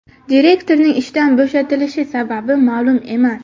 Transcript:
Direktorning ishdan bo‘shatilishi sababi ma’lum emas.